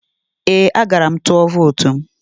Ee, agara m tụọ vootu m.